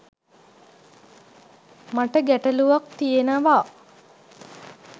මට ගැටළුවක් තියෙනවා.